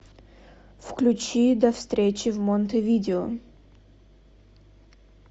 включи до встречи в монтевидео